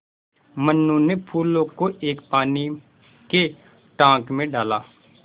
मनु ने फूलों को एक पानी के टांक मे डाला